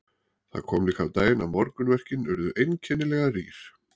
Það kom líka á daginn að morgunverkin urðu einkennilega rýr.